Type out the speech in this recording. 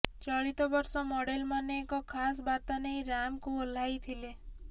ଚଳିତ ବର୍ଷ ମଡେଲମାନେ ଏକ ଖାସ୍ ବାର୍ତ୍ତା ନେଇ ରାମ୍ପକୁ ଓହ୍ଲାଇଥିଲେ